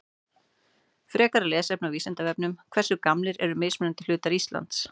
Frekara lesefni á Vísindavefnum Hversu gamlir eru mismunandi hlutar Íslands?